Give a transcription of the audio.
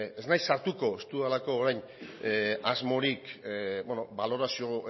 ez naiz sartuko ez dudalako orain asmorik balorazio